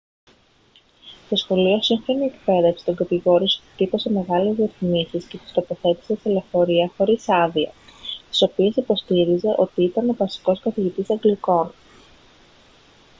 το σχολείο σύγχρονη εκπαίδευση τον κατηγόρησε ότι τύπωσε μεγάλες διαφημίσεις και τις τοποθέτησε σε λεωφορεία χωρίς άδεια στις οποίες υποστήριζε ότι ήταν ο βασικός καθηγητής αγγλικών